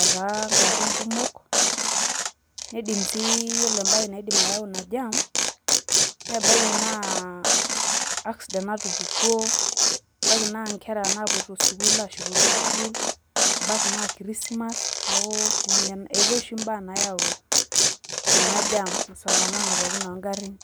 etaa garrin kumok naidim sii ore entoki naidim ayau ina jam naa ebaiki naa accident natupukuo, ebaiki naa inkera napoito sukuul ashukori sukuul, ebaiki naa Christmas neeku etaae oshi embae nayau ena jam msongamano pookin oo garrin.